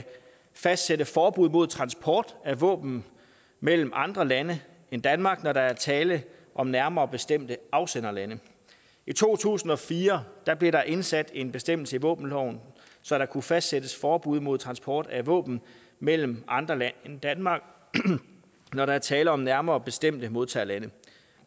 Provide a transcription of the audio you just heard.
fastsætte forbud mod transport af våben mellem andre lande end danmark når der er tale om nærmere bestemte afsenderlande i to tusind og fire blev der indsat en bestemmelse i våbenloven så der kunne fastsættes forbud mod transport af våben mellem andre lande end danmark når der er tale om nærmere bestemte modtagerlande